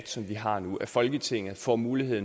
som vi har nu at folketinget får mulighed